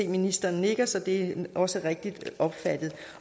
at ministeren nikker så det er også rigtigt opfattet